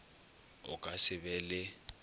o ka se be le